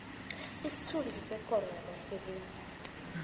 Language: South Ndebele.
isithunzi sekoro yabasebenzi